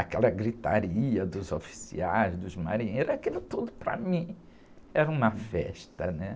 Aquela gritaria dos oficiais, dos marinheiros, aquilo tudo para mim era uma festa, né?